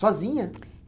Sozinha?